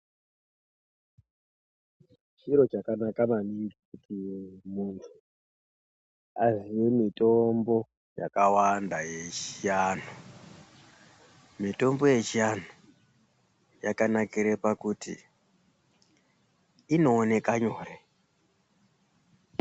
Chiro chakanaka maningi kuti muntu aziye mitombo yakawanda yechivanhu. Mitombo yechianhu yakanakire pakuti inoonekanyore.